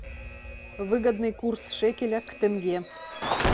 выгодный курс шекеля к тенге